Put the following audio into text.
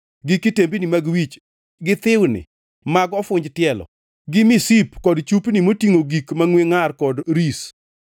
gi kitembini mag wich, gi thiwni mag ofunj tielo, gi misip gi chupni motingʼo gik mangʼwe ngʼar kod ris,